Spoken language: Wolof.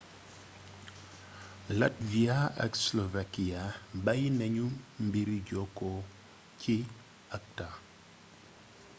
latvia ak slovakia bayyi nañu mbiri jokku ci acta